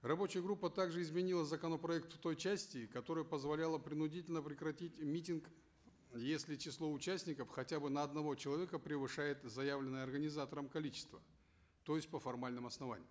рабочая группа также изменила законопроект в той части которая позволяла принудительно прекратить митинг если число участников хотя бы на одного человека превышает заявленное организатором количество то есть по формальным основаниям